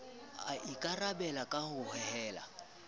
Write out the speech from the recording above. e ikarabela ka ho hohela